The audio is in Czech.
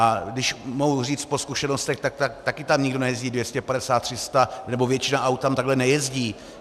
A když mohu říct po zkušenostech, tak také tam nikdo nejezdí 250, 300, nebo většina aut tam takhle nejezdí.